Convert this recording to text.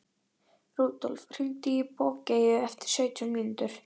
Rúdólf, hringdu í Bogeyju eftir sautján mínútur.